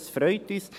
Das freut uns.